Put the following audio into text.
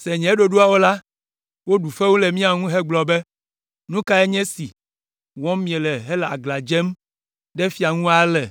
se nye ɖoɖoawo la, woɖu fewu le mía ŋu hegblɔ be, “Nu kae nye esi wɔm miele hele aglã dzem ɖe fia la ŋu ale?”